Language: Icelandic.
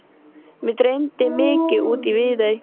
Mig dreymdi mikið út í Viðey.